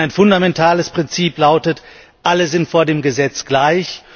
Denn ein fundamentales Prinzip lautet alle sind vor dem Gesetz gleich.